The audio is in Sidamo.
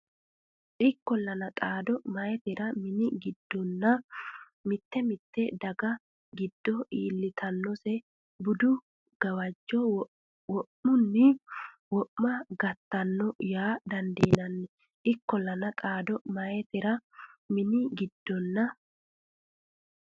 Ikkollana, xaano meyaatera mini giddonna mite mite daga giddo iillitannose budu gawajjo wo’munni wo’ma gattino yaa didandiinanni Ikkollana, xaano meyaatera mini giddonna.